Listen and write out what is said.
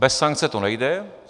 Bez sankce to nejde.